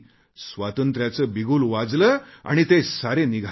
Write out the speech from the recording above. आजादीचा बिगुल वाजला आणि ते सारे निघाले